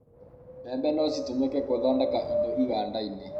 mbembe no citũmĩke gũthondeka indũ iganda-ini